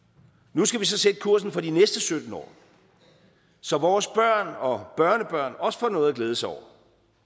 nu skal vi så sætte kursen for de næste sytten år så vores børn og børnebørn også får noget at glæde sig over